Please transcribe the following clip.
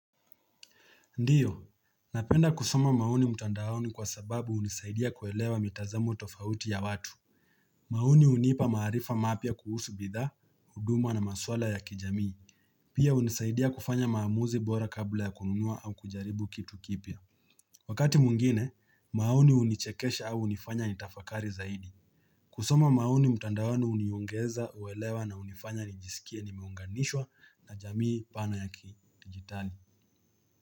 Ndio, napenda kusoma maoni mtandaoni kwa sababu hunisaidia kuelewa mitazamo tofauti ya watu. Maoni hunipa maarifa mapya kuhusu bidha, huduma na maswala ya kijamii. Pia hunisaidia kufanya maamuzi bora kabla ya kununua au kujaribu kitu kipya. Wakati mwingine, maoni hunichekesha au hunifanya nitafakari zaidi. Kusoma maoni mtandaoni huniongeza uelewa na hunifanya nijisikie nimeunganishwa na jamii pana ya kidijitali.